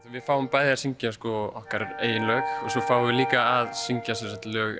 við fáum bæði að syngja okkar eigin lög og svo fáum við líka að syngja lög